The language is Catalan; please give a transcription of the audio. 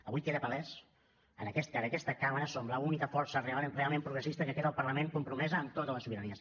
avui queda palès que en aquesta cambra som l’única força realment progressista que queda al parlament compromesa amb totes les sobiranies